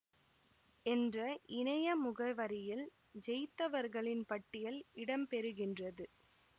என்ற இணைய முகவரியில் ஜெயித்தவர்களின் பட்டியல் இடம்பெறுகின்றது